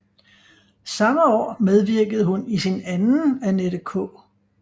Samme år medvirkede hun i sin anden Annette K